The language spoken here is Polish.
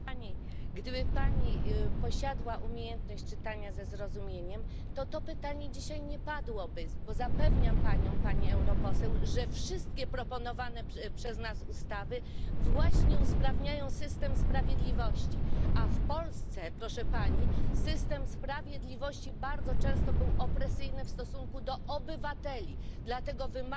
Gdyby Pani posiadła umiejętność czytania ze zrozumieniem, to to pytanie dzisiaj nie padłoby, bo zapewniam Panią, Pani europoseł, że wszystkie proponowane przez nas ustawy właśnie usprawniają system sprawiedliwości, a w Polsce, proszę Pani, system sprawiedliwości bardzo często był opresyjny w stosunku do obywateli, dlatego wymagał